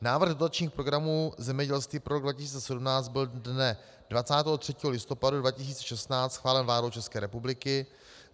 Návrh dotačních programů zemědělství pro rok 2017 byl dne 23. listopadu 2016 schválen vládou České republiky.